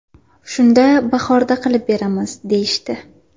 Shunda bahorda qilib beramiz, deyishdi.